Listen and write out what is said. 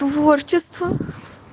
творчество